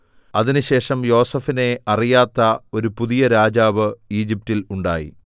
അതിനുശേഷം യോസേഫിനെ അറിയാത്ത ഒരു പുതിയ രാജാവ് ഈജിപ്റ്റിൽ ഉണ്ടായി